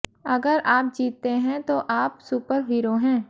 अगर आप जीतते हैं तो आप सुपर हीरो हैं